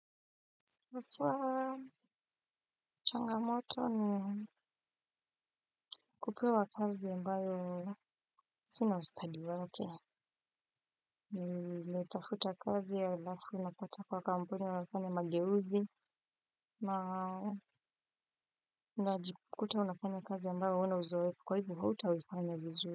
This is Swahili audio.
Haswa changamoto ni kupewa kazi ambayo sina ustadi wake nimetafuta kazi ya alafu napata kuwa kampuni inafanya mageuzi na najikuta unafanya kazi ambayo huna uzoefu kwa hivo hutaifanya vizuri.